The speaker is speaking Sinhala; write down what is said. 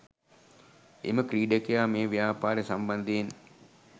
එම ක්‍රීඩකයා මේ ව්‍යාපාරය සම්බන්ධයෙන්